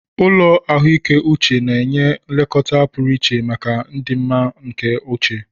Ụlọ ahụike uche na-enye nlekọta pụrụ iche maka ọdịmma nke uche